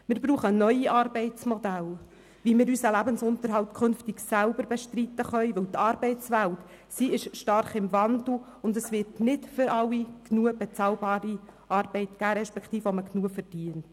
Wir brauchen neue Arbeitsmodelle, wie wir unseren Lebensunterhalt künftig selber bestreiten können, denn die Arbeitswelt ist stark im Wandel, und es wird nicht für alle genügend bezahlte Arbeit geben respektive Arbeit, bei der man genügend verdient.